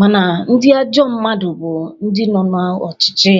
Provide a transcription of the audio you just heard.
mana ndị ajọ mmadụ bu ndị no na ọchịchị